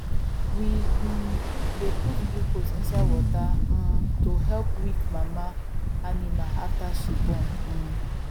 we um dey put glucose inside water um to help weak mama animal after she born um